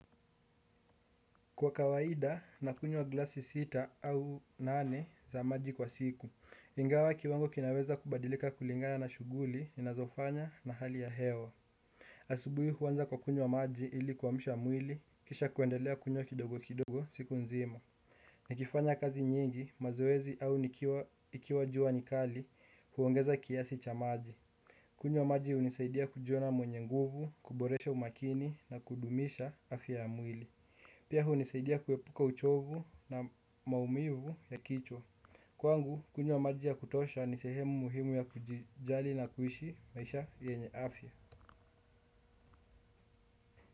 Kwa kawaida nakunywa glasi sita au nane za maji kwa siku, ingawa kiwango kinaweza kubadilika kulingana na shuguli, ninazofanya na hali ya hewa. Asubui huanza kwa kunywa maji ili kuamsha mwili, kisha kuendelea kunywa kidogo kidogo siku nzima. Nikifanya kazi nyingi, mazoezi au ikiwa jua ni kali, huongeza kiasi cha maji. Kunywa maji unisaidia kujiona mwenye nguvu, kuboresha umakini na kudumisha afya ya mwili. Pia hunisaidia kuepuka uchovu na maumivu ya kichwa. Kwangu, kunywa maji ya kutosha ni sehemu muhimu ya kujijali na kuishi maisha yenye afya.